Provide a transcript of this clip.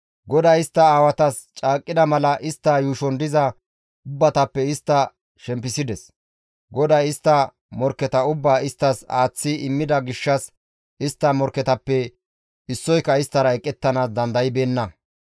GODAY istta aawatas caaqqida mala istta yuushon diza ubbatappe istta shempisides. GODAY istta morkketa ubbaa isttas aaththi immida gishshas istta morkketappe issoyka isttara eqettanaas dandaybeenna.